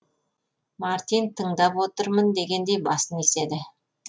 мартин тыңдап отырмын дегендей басын изеді